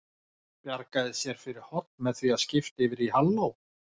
Bjargaði sér fyrir horn með því að skipta yfir í halló.